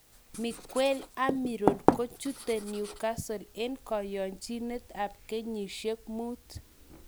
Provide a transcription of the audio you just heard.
Miguel Amiron kochutu newcatle en koyonjinet ap kenyishiek muut